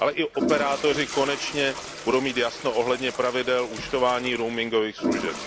Ale i operátoři konečně budou mít jasno ohledně pravidel účtování roamingových služeb.